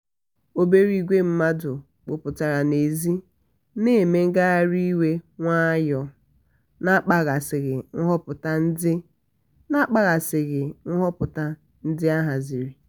obere igwe mmadụ kpọkọtara n'èzí na-eme ngagharị iwe nwayọọ na-akpaghasịghị nhọpụta ndị na-akpaghasịghị nhọpụta ndị a haziri.